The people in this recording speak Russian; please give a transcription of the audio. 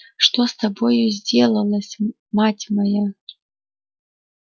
что с тобою сделалось мать моя